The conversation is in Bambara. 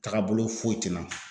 Tagabolo foyi te n na